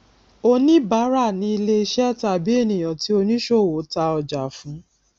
oníbárà ni ilẹiṣẹ tàbí ènìyàn tí oníṣòwò ta ọjà fún